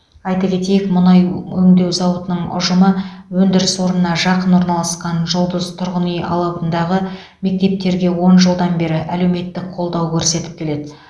айта кетейік мұнай өңдеу зауытының ұжымы өндіріс орнына жақын орналасқан жұлдыз тұрғын алабындағы мектептерге он жылдан бері әлеуметтік қолдау көрсетіп келеді